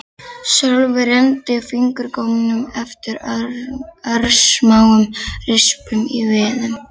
Sölvi renndi fingurgómunum eftir örsmáum rispum í viðnum.